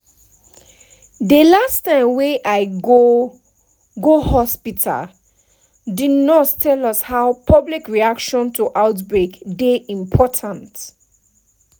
dey last time wey i go go hospitalthe nurse tell us how public reaction to outbreak dey important